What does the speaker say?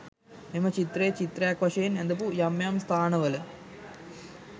මෙම චිත්‍රය, චිත්‍රයක් වශයෙන් ඇඳපු යම් යම් ස්ථානවල